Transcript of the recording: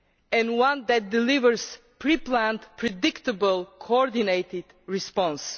and one that delivers a pre planned predictable coordinated response.